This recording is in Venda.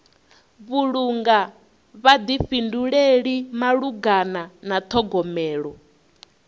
vhulunga vhuḓifhinduleli malugana na ṱhogomelo